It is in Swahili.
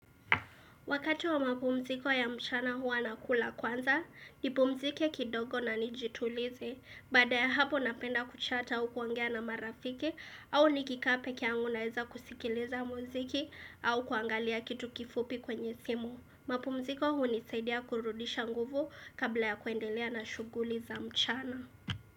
Wakati wa mapumziko ya mchana huwa nakula kwanza, nipumzike kidogo na nijitulize, baada ya hapo napenda kuchat au kuongea na marafiki, au nikikaa pekeangu naeza kusikiliza muziki au kuangalia kitu kifupi kwenye simu. Mapumziko hunisaidia kurudisha nguvu kabla ya kuendelea na shuguli za mchana.